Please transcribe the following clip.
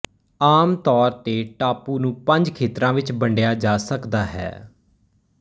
ਆਮ ਤੌਰ ਤੇ ਟਾਪੂ ਨੂੰ ਪੰਜ ਖੇਤਰਾਂ ਵਿਚ ਵੰਡਿਆ ਜਾ ਸਕਦਾ ਹੈ